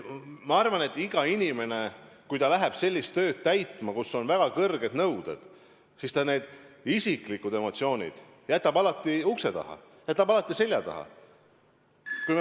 Ma arvan, et iga inimene, kui ta läheb sellist tööd tegema, kus on väga kõrged nõuded, siis ta isiklikud emotsioonid jätab alati ukse taha, jätab alati seljataha.